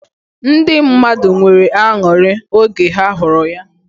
Ndi mmadụ nwere ańuri oge ha huru ya.